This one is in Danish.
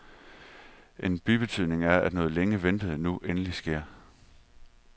En bibetydning er, at noget længe ventet nu endelig sker.